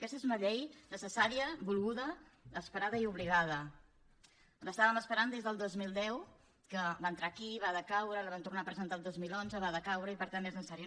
aquesta és una llei necessària volguda esperada i obligada l’estàvem esperant des del dos mil deu que va entrar aquí va decaure la van tornar a presentar el dos mil onze va decaure i per tant és necessària